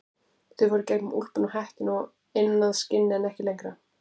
Þau fóru í gegnum úlpuna og hettuna og inn að skinni en ekki lengra.